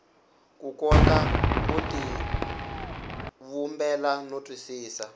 kota ku tivumbela no twisisa